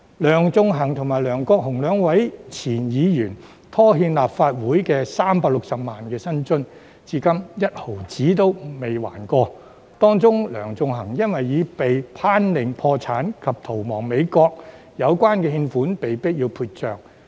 梁頌恆與梁國雄兩名前議員拖欠立法會360萬元薪津，至今分毫未曾償還，而其中梁頌恆更因已被頒令破產及逃亡美國，有關欠款被迫要撇帳。